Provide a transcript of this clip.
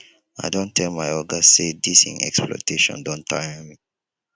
i don tell my oga sey dis im exploitation don tire me